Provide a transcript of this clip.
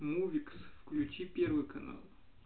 мувикс включи первый канал